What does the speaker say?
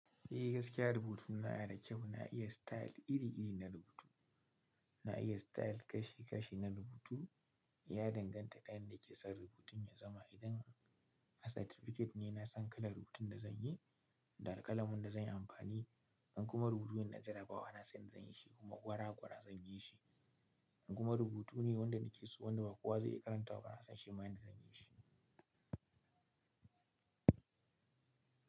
Eh gaskiya rubutuna na da kyau, na iya style iri-iri na rubutu. Na iya style kashi-kashi na rubutu, ya danganta da yanda nake son rubutun ya zama. Idan a certificate ne, na san kalar rubutun da zan yi, da alƙalamin da zan yi amfani, in kuma rubutune na jarabawa na san yanda zan yi shi kuma gwara-gwara zan yi shi. In kuma rubutu ne wanda nake so wanda ba kowa zai iya karantawa, ba na san shi ma yanda zan yi shi.